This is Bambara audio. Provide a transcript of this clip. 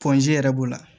yɛrɛ b'o la